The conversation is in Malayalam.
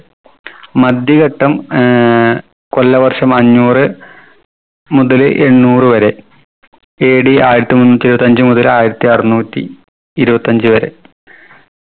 മദ്യഘട്ടം ഏർ കൊല്ലവർഷം അഞ്ഞൂറ് മുതല് എണ്ണൂറ് വരെ AD ആയിരത്തി മുന്നൂറ്റി ഇരുപത്തഞ്ച് മുതല് ആയിരത്തി അറുന്നൂറ്റി ഇരുപത്തഞ്ച് വരെ